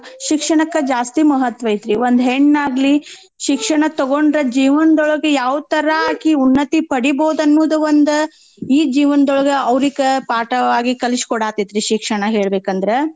ಇವಾಗ ಶಿಕ್ಷಣಕ್ಕ ಜಾಸ್ತಿ ಮಹತ್ವ ಐತ್ರೀ ಒಂದ್ ಹೆಣ್ಣಾಗ್ಲಿ ಶಿಕ್ಷಣ ತಗೊಂಡ್ರ ಜೀವನ್ದೊಳ್ಗ ಯಾವ್ ತರಾ ಅಕಿ ಉನ್ನತಿ ಪಡಿಬೌದ್ ಅನ್ನೋದ್ ಒಂದ್ ಈ ಜೀವನ್ದೊಳ್ಗ ಔರೀಕ ಪಾಠವಾಗಿ ಕಲ್ಸೀ ಕೋಡಾತೇತ್ರೀ ಶಿಕ್ಷಣ ಹೇಳ್ಬೇಕಂದ್ರ.